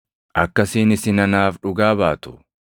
Akkasiin isin anaaf dhugaa baatu.